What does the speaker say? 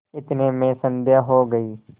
इतने में संध्या हो गयी